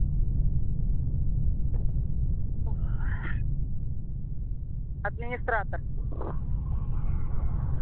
администратор